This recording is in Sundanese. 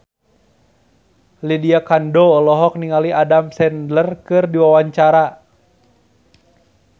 Lydia Kandou olohok ningali Adam Sandler keur diwawancara